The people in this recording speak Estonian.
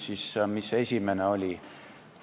Mis see esimene küsimus oli?